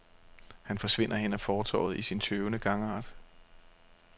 Han forsvinder hen ad fortovet i sin tøvende gangart.